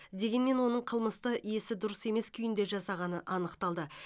дегенмен оның қылмысты есі дұрыс емес күйінде жасағаны анықталды